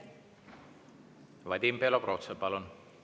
Vadim Belobrovtsev, palun!